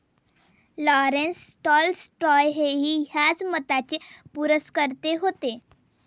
Lawrence, Tolstoy हेही याच मताचे पुरस्कर्ते होते.